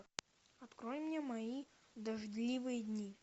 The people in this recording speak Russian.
открой мне мои дождливые дни